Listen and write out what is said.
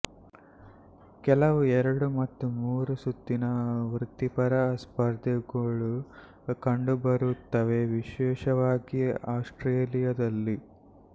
ಕೆಲವು ಎರಡು ಮತ್ತು ಮೂರುಸುತ್ತಿನ ವೃತ್ತಿಪರ ಸ್ಪರ್ಧೆಗಳೂ ಕಂಡುಬರುತ್ತವೆ ವಿಶೇಷವಾಗಿ ಆಸ್ಟ್ರೇಲಿಯಾದಲ್ಲಿ